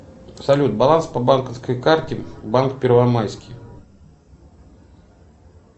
салют баланс по банковской карте банк первомайский